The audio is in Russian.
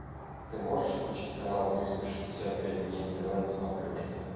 ты можешь включить канал триста шестьдесят пять дней тв на смотрешке